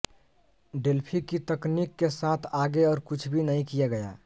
Delphi की तकनीक के साथ आगे और कुछ भी नहीं किया गया